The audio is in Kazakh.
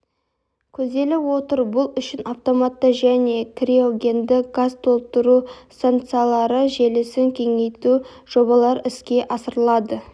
көзделіп отыр бұл үшін автоматты және криогенді газ толтыру стансалары желісін кеңейту жобалары іске асырылады